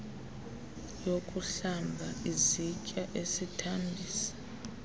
yokuhlamba izitya isithambisi